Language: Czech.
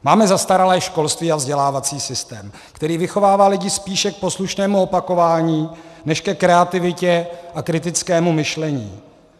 Máme zastaralé školství a vzdělávací systém, který vychovává lidi spíše k poslušnému opakování než ke kreativitě a kritickému myšlení.